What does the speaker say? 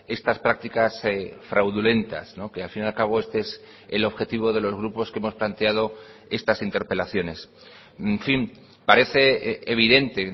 estas prácticas fraudulentas que al fin y al cabo este es el objetivo de los grupos que hemos planteado estas interpelaciones en fin parece evidente